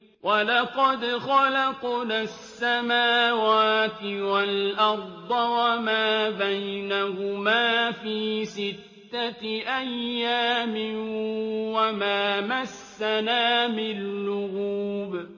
وَلَقَدْ خَلَقْنَا السَّمَاوَاتِ وَالْأَرْضَ وَمَا بَيْنَهُمَا فِي سِتَّةِ أَيَّامٍ وَمَا مَسَّنَا مِن لُّغُوبٍ